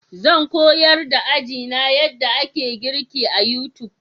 Zan koyar da ajina yadda ake girki a YouTube.